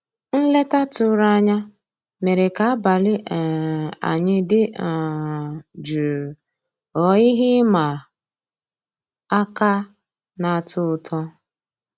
Nlétà tụ̀rụ̀ ànyá mérè ká àbàlí um ànyị́ dị́ um jụ́ụ́ ghọ́ọ́ íhé ị́mà àká ná-àtọ́ ụtọ́.